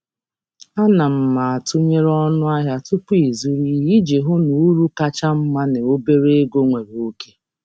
M na-atụnyere ọnụ ahịa tupu m zụta ihe iji hụ na m nwetara uru kacha um mma na um ego dị um ntakịrị.